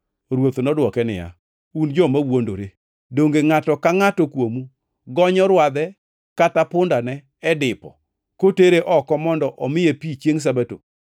Ruoth nodwoke niya, “Un joma wuondore! Donge ngʼato ka ngʼato kuomu gonyo rwadhe kata pundane e dipo kotere oko mondo omiye pi chiengʼ Sabato?